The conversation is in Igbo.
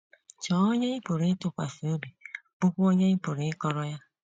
Chọọ onye ị pụrụ ịtụkwasị obi, bụ́kwa onye ị pụrụ ịkọrọ ya.